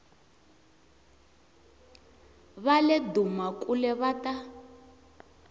va le dumakule va ta